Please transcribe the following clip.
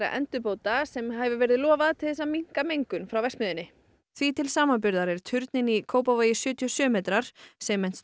endurbóta sem hefur verið lofað til að minnka mengun frá verksmiðjunni því til samanburðar er turninn í Kópavogi sjötíu og sjö metrar